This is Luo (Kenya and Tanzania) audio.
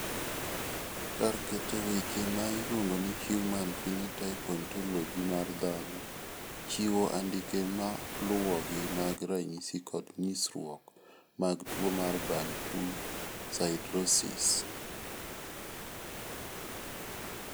Kar keto weche ma iluongo ni Human Phenotype Ontology mar dhano chiwo andike maluwogi mag ranyisi kod nyisruok mag tuo mar Bantu siderosis?